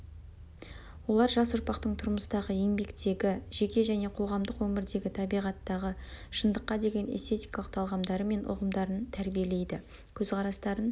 олар жас ұрпақтың тұрмыстағы еңбектегі жеке және қоғамдық өмірдегі табиғаттағы шындыққа деген эстетикалық талғамдары мен ұғымдарын тәрбиелейді көзқарастарын